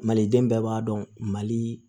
Maliden bɛɛ b'a dɔn mali